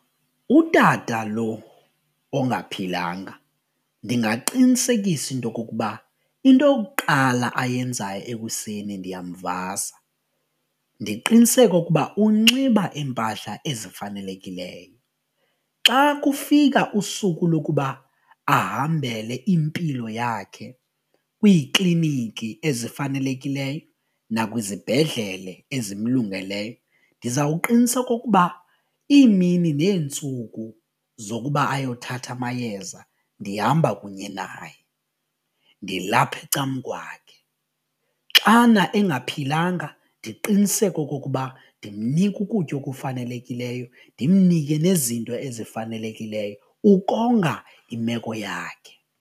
Utata lo ongaphilanga ndingaqinisekisa intokokuba into yokuqala ayenzayo ekuseni ndiyamvasa, ndiqiniseke okokuba unxiba iimpahla ezifanelekileyo. Xa kufika usuku lokuba ahambele impilo yakhe kwiikliniki ezifanelekileyo nakwizibhedlele ezimlungeleyo ndizawuqinisa okokuba iimini neentsuku zokuba ayothatha amayeza ndihamba kunye naye ndilapha ecam'kwakhe. Xana engaphilanga ndiqiniseke okokuba ndimnika ukutya okufanelekileyo ndimnike nezinto ezifanelekileyo ukonga imeko yakhe.